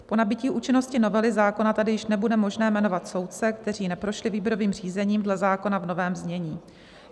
Po nabytí účinnosti novely zákona tedy již nebude možné jmenovat soudce, kteří neprošli výběrovým řízením dle zákona v novém znění.